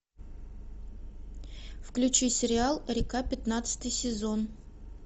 включи сериал река пятнадцатый сезон